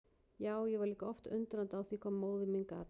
Já, ég var líka oft undrandi á því hvað móðir mín gat.